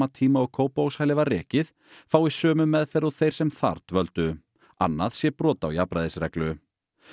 tíma og Kópavogshælið var rekið fái sömu meðferð og þeir sem þar dvöldu annað sé brot á jafnræðisreglu